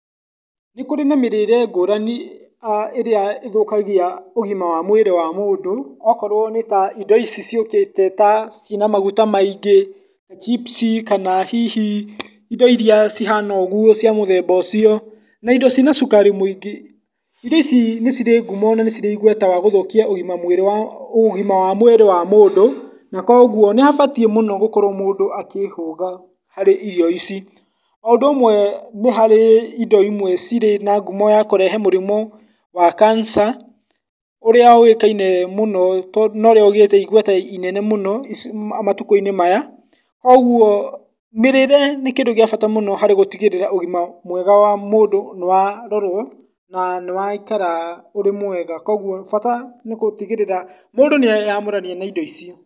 Nĩ kũrĩ na mĩrĩre ngũrani a ĩrĩa ĩthũkagia ũgima wa mwĩrĩ wa mũndũ, okorwo nĩ indo icio ciũkĩte ta cina magũta maingĩ, chips, kana hihi indo iria cihana ũguo cia mũthemba ũcio, na indo cina cukari mũingĩ, indo ici nĩ cirĩ ngumo na nĩ cirĩ igweta wagũthũkia ũgima wa, ũgima wa mwĩrĩ wa mũndũ, na koguo nĩ habatiĩ mũno gũkorwo mũndũ akĩhũga harĩ irio ici, o ũndũ ũmwe nĩ harĩ indo cirĩ na ngumo ya kũrehe mĩrimũ wa cancer, ũrĩa ũĩkaine mũno, tondũ, nĩ ũrĩa ũgĩte igweta inene mũno matuku-inĩ maya, koguo mĩrĩre nĩ kĩndũ gĩa bata mũno harĩ gũtigĩrĩra ũgima mwega wa mũndũ nĩ wa rorwo, na nĩ waikara ũrĩ mwega, koguo bata nĩgũtigĩrĩra mũndũ nĩ eyamũrania na indo icio.